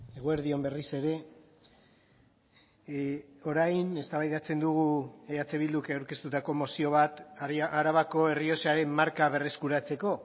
eguerdi on berriz ere orain eztabaidatzen dugu eh bilduk aurkeztutako mozio bat arabako errioxaren marka berreskuratzeko